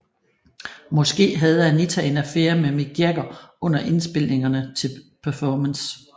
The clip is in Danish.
Måske havde Anita en affære med Mick Jagger under indspilningerne til Performance